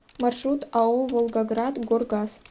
маршрут ао волгоградгоргаз